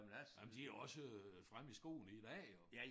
Jamen de jo også øh fremme i skoene i dag jo